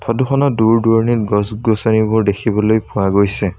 Photo খনত দূৰ-দূৰণিত গছ-গছনিবোৰ দেখিবলৈ পোৱা গৈছে।